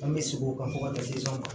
An bɛ segin o kan fo ka taa se an ma